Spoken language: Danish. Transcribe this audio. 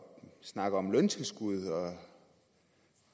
snakker om løntilskud og